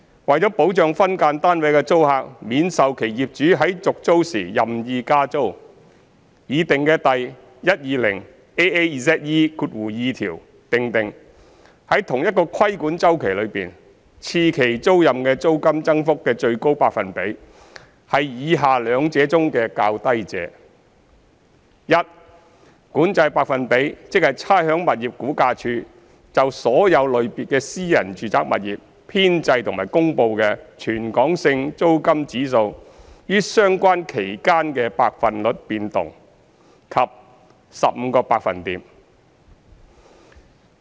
為保障分間單位的租客免受其業主在續租時任意加租，擬訂的第 120AAZE2 條訂定，在同一個規管周期中，次期租賃的租金增幅的最高百分比，是以下兩者中的較低者：一管制百分比，即差餉物業估價署就所有類別的私人住宅物業編製和公布的全港性租金指數於相關期間的百分率變動；及二 15%。